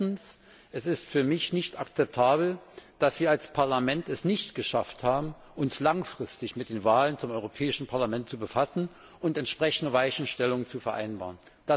Erstens Es ist für mich nicht akzeptabel, dass wir es als Parlament nicht geschafft haben, uns langfristig mit den Wahlen zum Europäischen Parlament zu befassen und entsprechende Weichenstellungen zu vereinbaren.